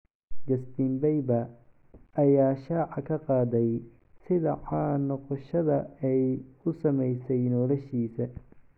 Justin Bieber ayaa shaaca ka qaaday sida caan ka noqoshada ay u saameysay noloshiisa.